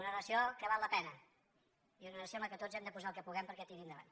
una nació que val la pena i una nació en la qual tots hem de posar el que puguem perquè tiri endavant